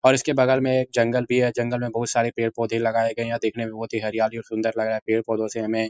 और इसके बगल में जंगल भी है। जंगल मे बहुत सारे पेड़ पौधे लगाए गए हैं। यह देखने में बहुत ही हरियाली और सुन्दर लग रहा है। पेड़ पौधों से हमें --